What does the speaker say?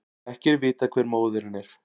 Ekki er vitað hver móðirin er